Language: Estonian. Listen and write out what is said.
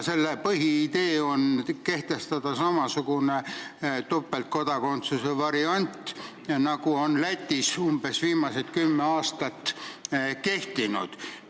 Selle põhiidee on kehtestada samasugune topeltkodakondsuse variant, nagu on Lätis umbes viimased kümme aastat kehtinud.